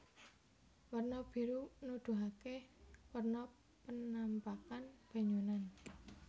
Werna biru nuduhaké werna kenampakan banyunan